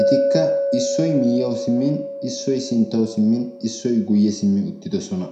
etikka; issoy miyyiyawu simin ,ssoy sinttaw simmin, issoy guyye simmi uttidoosona.